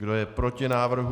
Kdo je proti návrhu?